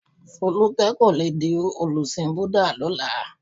Folúkẹ́ kò le di olùsìn Búdà lọ́la.